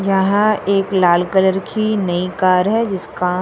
यहाँ एक लाल कलर की नई कार है जिसका --